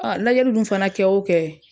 lajɛli dun fana kɛ o kɛ